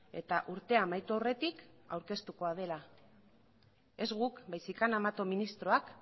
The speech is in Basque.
eta urtea amaitu aurretik aurkeztuko dela ez guk baizik eta ana mato ministroak